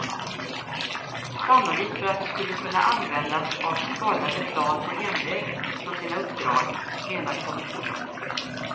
Sannolikt för att de skulle kunna användas av skadade plan på hemväg från sina uppdrag, menar kommissionen.